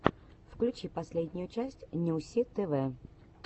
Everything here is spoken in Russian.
включи последнюю часть нюси тв